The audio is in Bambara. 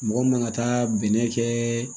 Mɔgɔ min ka taa bɛnɛ kɛ